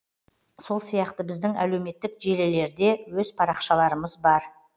сол сияқты біздің әлеуметтік желілерде өз парақшаларымыз бар